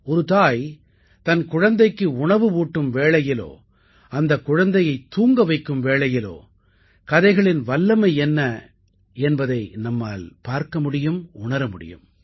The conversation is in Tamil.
ஒரு தாய் தன் குழந்தைக்கு உணவு ஊட்டும் வேளையிலோ அந்தக் குழந்தையைத் தூங்க வைக்கும் வேளையிலோ கதைகளின் வல்லமை என்ன என்பதை நம்மால் பார்க்கமுடியும் உணர முடியும்